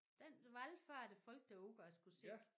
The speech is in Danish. Den valfartede folk derud og skulle se